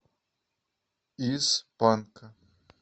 из панка